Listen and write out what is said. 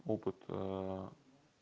опыт